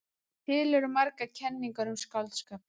Til eru margar kenningar um skáldskapinn.